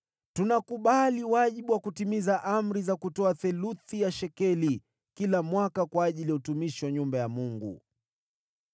“Tunakubali wajibu wa kutimiza amri za kutoa theluthi ya shekeli kila mwaka kwa ajili ya utumishi wa nyumba ya Mungu: